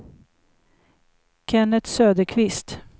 Kennet Söderqvist